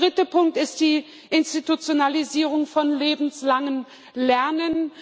Der dritte Punkt ist die Institutionalisierung von lebenslangem Lernen.